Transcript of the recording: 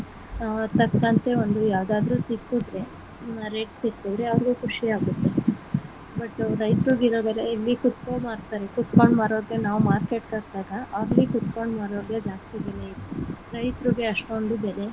ಹ ತಕ್ಕಂತೆ ಒಂದು ಯಾವ್ದಾದ್ರು ಸಿಕ್ಕುದ್ರೆ rate ಸಿಕ್ಕುದ್ರೆ ಅವ್ರುಗು ಖುಷಿ ಆಗುತ್ತೆ but ರೈತರಿಗೆ ಇರೋ ಬೆಲೆ ಇಲ್ಲಿ ಕುಂತಕೋ ಮಾರ್ತಾರೆ ಕೂತ್ಕೊಂಡ್ ಮಾರೋರ್ಗೆ ನಾವು market ಹೋದಾಗ ಅಲ್ಲಿ ಕೂತ್ಕೊಂಡ್ ಮಾರೋರೆ ಜಾಸ್ತಿ ಇರ್ತಾರೆ ರೈತರಿಗೆ ಅಷ್ಟೊಂದು ಬೆಲೆ .